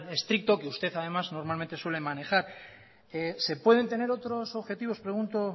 estricto que usted además normalmente suele manejar se pueden tener otros objetivos pregunto